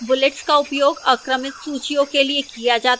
bullets का उपयोग अक्रमित सूचियों के लिए किया जाता है